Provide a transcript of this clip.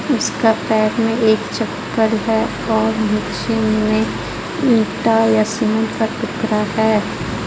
इसका पैर मे एक चप्पल हे और निचे मे ईटा या सीमेंट का टुकड़ा हे.